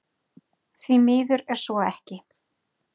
Því miður er svo ekki